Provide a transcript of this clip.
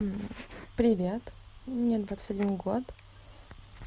привет мне двадцать один год